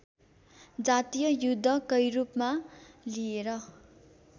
जातीय युद्धकैरूपमा लिएर